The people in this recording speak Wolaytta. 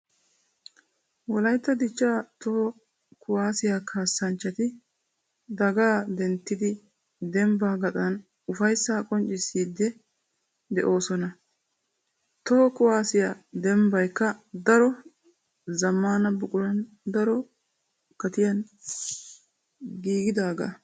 Wolaytta dicha toho kuwasiya kaassanchchatti daagga denttidi dembba gaxan ufayssa qoccissiide de'osonna. Toho kuwasiyaa dembbaykka daro zamaana buquran daro gatiyan giigidaaga.